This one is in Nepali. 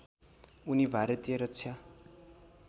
उनी भारतीय रक्षा